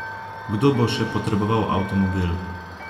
Kdo bo še potreboval avtomobil?